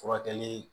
Furakɛli